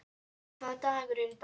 Pjetur, hvaða dagur er í dag?